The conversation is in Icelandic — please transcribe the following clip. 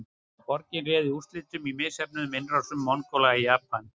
Boginn réði úrslitum í misheppnuðum innrásum Mongóla í Japan.